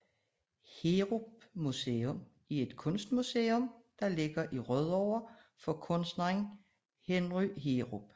Heerup Museum er et kunstmuseum der ligger i Rødovre for kunstneren Henry Heerup